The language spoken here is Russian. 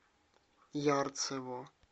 ярцево